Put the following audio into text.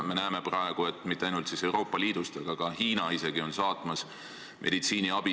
Me näeme praegu, et mitte ainult Euroopa Liit, vaid isegi Hiina on saatmas meditsiiniabi.